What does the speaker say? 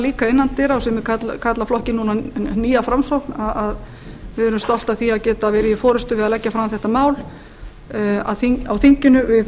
líka innan dyra og sumir kalla flokkinn núna nýja framsókn að við erum stolt af því að geta verið í forustu við að leggja fram þetta mál á þinginu við